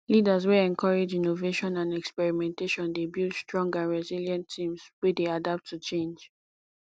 leaders wey encourage innovation and experimentation dey build strong and resilient teams wey dey adapt to change